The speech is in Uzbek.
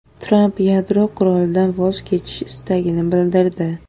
Tramp yadro qurolidan voz kechish istagini bildirdi.